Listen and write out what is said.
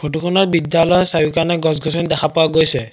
Photo খনত বিদ্যালয়ৰ চাৰিওকাণে গছ গছনি দেখা পোৱা গৈছে।